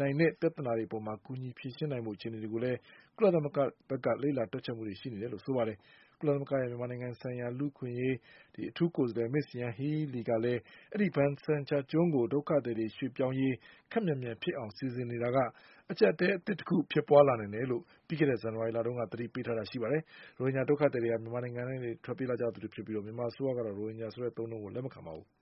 နိုင်တဲ့ ပြဿနာတွေအပေါ်ကူညီဖြေရှင်း နိုင်ဖို့ အခြေအနေတွေ ကိုလည်း ကုလသမဂ္ဂဘက်က လေ့လာတွက်ချက်နေတယ်လို့လည်း ဆိုပါတယ်။ ကုလသမဂ္ဂရဲ့ မြန်မာနိုင်ငံလူ့အခွင့်အရေးဆိုင်ရာ အထူးကိုယ်စားလှယ် မစ္စ ယန်ဟီးလီ ကလည်း ဒီဘာဆန်ချာကျွန်းကို ဒုက္ခသည်တွေ ရွှေ့ပြောင်းရေးကို ခပ်မြန်မြန်ဖြစ်အောင် စီစဉ်နေတာက အကြပ်အတည်း အသစ်တခုဖြစ်ပွားလာနိုင်တယ်လို့လည်း ပြီးခဲ့တဲ့ ဇန်နဝါရီလတုန်းက သတိပေးထားတာပါ။ ရိုဟင်ဂျာဒုက္ခသည်တွေဟာ မြန်မာနိုင်ငံကနေ ထွက်ပြေးလာခဲ့ကြသူတွေဖြစ်ပြီး မြန်မာအစိုးရကတော့ ရိုဟင်ဂျာဆိုတဲ့အသုံးအနှုန်းကို လက်မခံပါဘူး။